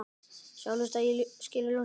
Sjá hlutina í skýru ljósi.